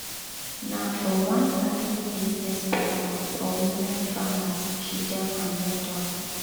na for one agribusiness panel for women farmers she jam her mentor.